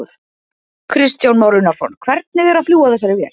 Kristján Már Unnarsson: Hvernig er að fljúga þessari vél?